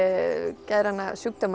geðræna sjúkdóma